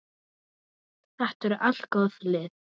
Þetta eru allt góð lið.